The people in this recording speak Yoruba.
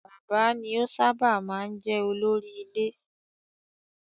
Bàbá ni ó sábà máa ń jẹ́ olórí ilé.